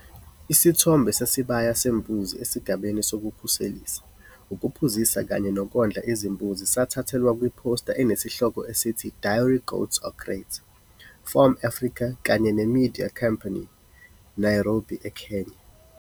Isithombe sesibaya sembuzi esigabeni sokukhoselisa, ukuphuzisa kanye nokondla izimbuzi sathathelwa kwiphosta enesihloko esithi Dairy goats are great!, FARM-Africa kanye neMedia Company, Nairobi eKenya.